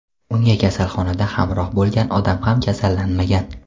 Unga kasalxonada hamroh bo‘lgan odam ham kasallanmagan.